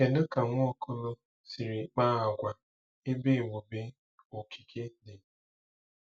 Kedu ka Nwaokolo siri kpaa agwa ebe ebube okike dị?